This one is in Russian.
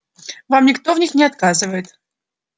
вам никто в них не отказывает